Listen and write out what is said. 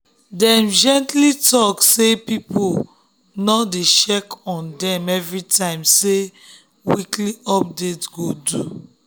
dem gently talk say make people no dey check on dem every time say weekly update go do.